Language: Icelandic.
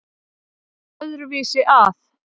Ég færi öðru vísi að.